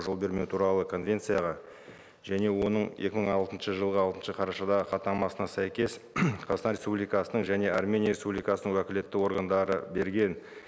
жол бермеу туралы конвенцияға және оның екі мың алтыншы жылғы алтыншы қарашадағы хаттамасына сәйкес қазақстан республикасының және армения республикасының уәкілетті органдары берген